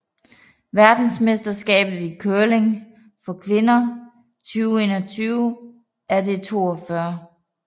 Verdensmesterskabet i curling for kvinder 2021 er det 42